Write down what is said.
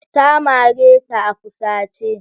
Ta mare ta a fusace.